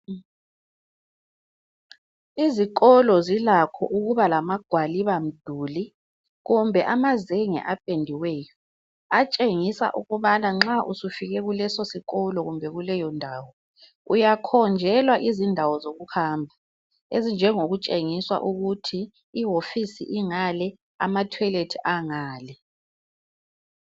Izikolo zilakho ukuba lamagwaliba mduli kumbe amazenge apediweyo atshengisa ukubana nxa usufike kulesosikolo kumbe kuleyo ndawo uyakhonjelwa izindawo zokuhamba ezinjengo kutshengiswa ukuthi iwofisi ingale amathoyilethi angale.